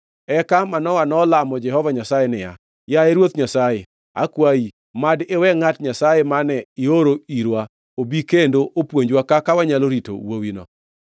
Eka Manoa nolamo Jehova Nyasaye niya, “Yaye Ruoth Nyasaye, akwayi, mad iwe ngʼat Nyasaye mane ioro irwa obi kendo opuonjwa kaka wanyalo rito wuowini.”